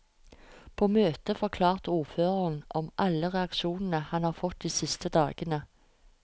På møtet forklarte ordføreren om alle reaksjonene han har fått de siste dagene.